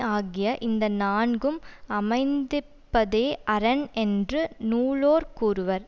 ஆகிய இந்த நான்கும் அமைந்திப்பதே அரண் என்று நூலோர் கூறுவர்